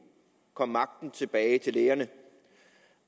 kom magten tilbage til lægerne